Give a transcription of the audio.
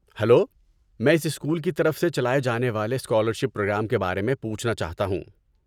Hello, میں اس school کی طرف سے چلائے جانے والے اسکالرشپ پروگرام کے بارے میں پوچھنا چاہتا ہوں۔